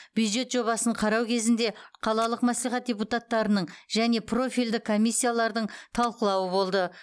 бюджет жобасын қарау кезінде қалалық мәслихат депутаттарының және профильді комиссиялардың талқылауы болды